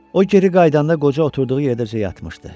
O geri qayıdanda qoca oturduğu yerdə özü yatmışdı.